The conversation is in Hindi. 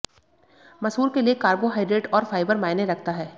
मसूर के लिए कार्बोहाइड्रेट और फाइबर मायने रखता है